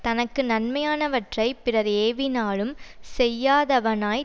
தனக்கு நன்மையானவற்றை பிறர் ஏவினாலும் செய்யாதவனாய்